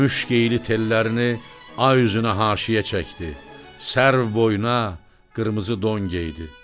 Müşk iyili tellərini ay üzünə haşiyə çəkdi, sərv boyuna qırmızı don geydi.